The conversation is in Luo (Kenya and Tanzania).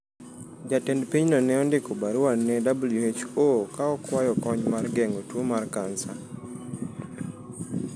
Jatend pinyno ne ondiko barua ne WHO ka okwayo kony mar geng’o tuo mar kansa.